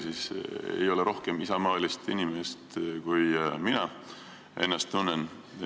Tahan öelda, et rohkem isamaalist inimest olla ei saa, kui mina ennast tunnen.